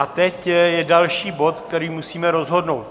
A teď je další bod, který musíme rozhodnout.